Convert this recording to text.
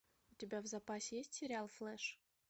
у тебя в запасе есть сериал флэш